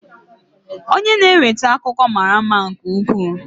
Onye na-eweta akụkọ mara mma nke ukwuu.